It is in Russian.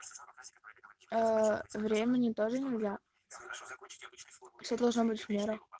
времени тоже нельзя все должно быть в меру